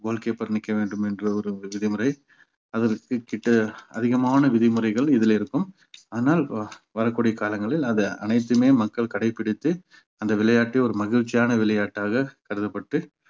goal keeper நிற்க வேண்டும் என்று ஒரு விதிமுறை அதற்க்குக்கிட்ட அதிகமான விதிமுறைகள் இதுல இருக்கும் ஆனால் வ~ வரக்கூடிய காலங்களில் அது அனைத்துமே மக்கள் கடைப்பிடித்து அந்த விளையாட்டை ஒரு மகிழ்ச்சியான விளையாட்டாக கருதப்பட்டு